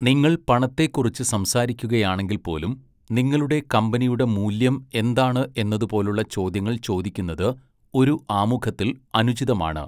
നിങ്ങൾ പണത്തെക്കുറിച്ച് സംസാരിക്കുകയാണെങ്കിൽപ്പോലും, നിങ്ങളുടെ കമ്പനിയുടെ മൂല്യം എന്താണ് എന്നതുപോലുള്ള ചോദ്യങ്ങൾ ചോദിക്കുന്നത് ഒരു ആമുഖത്തിൽ അനുചിതമാണ്.